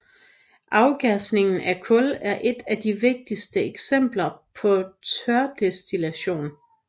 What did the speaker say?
Afgasning af kul er et af de vigtigste eksempler på tørdestillation